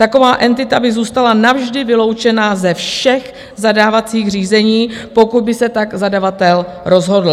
Taková entita by zůstala navždy vyloučena ze všech zadávacích řízení, pokud by se tak zadavatel rozhodl.